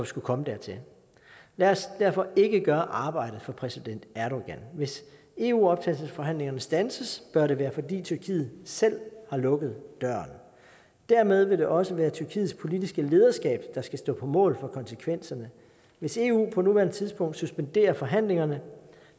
skulle komme dertil lad os derfor ikke gøre arbejdet for præsident erdogan hvis eu optagelsesforhandlingerne standses bør det være fordi tyrkiet selv har lukket døren dermed vil det også være tyrkiets politiske lederskab der skal stå på mål for konsekvenserne hvis eu på nuværende tidspunkt suspenderer forhandlingerne